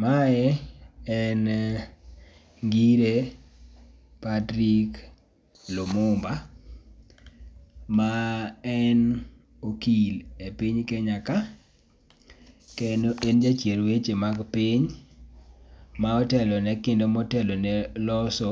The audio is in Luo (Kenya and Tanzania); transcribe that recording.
Ma en ngire Patric Lumumba ma en okil e piny Kenya ka kendo en ja chiel weche mag piny ma otelo kendo ma otelo ne loso